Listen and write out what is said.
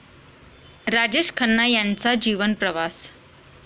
राजेश खन्ना यांचा जीवनप्रवास